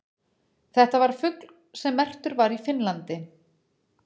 þetta var fugl sem merktur var í finnlandi